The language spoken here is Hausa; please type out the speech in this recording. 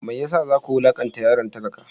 Me ya sa za ku wulakanta yaron talaka?